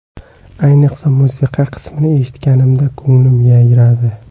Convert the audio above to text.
Ayniqsa, musiqa qismini eshitganimda ko‘nglim yayradi.